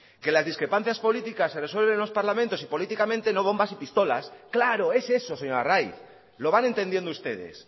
que las discrepancias políticas se resuelven en los parlamentos y políticamente no bombas y pistolas claro es eso señor arraiz lo van entendiendo ustedes